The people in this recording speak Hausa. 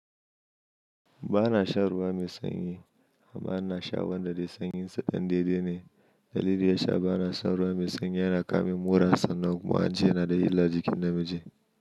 Ba na shan ruwa mai sanyi, ba na sha wanda dai sanyin sa ɗan daidai ne. Dalilin ya sa ba na son ruwa mai sanyi, yana kamin mura sannan kuma an ce yana da illa jikin namiji.